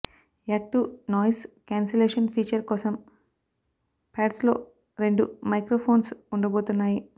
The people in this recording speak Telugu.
యాక్టివ్ నాయిస్ క్యాన్సిలేషన్ ఫీచర్ కోసం పాడ్స్లో రెండు మైక్రో ఫోన్స్ ఉండబోతున్నాయి